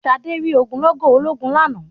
Ṣadé rí ogunlọ́gọ̀ ológun lánàá.